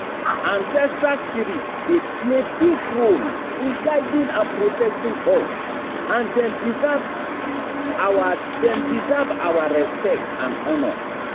Ancestral spirits dey play big role in guiding and protecting us, and dem deserve our dem deserve our respect and honor.